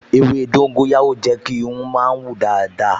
Ewé dóńgóyárò jẹ́ kí irun mi hun dáadáa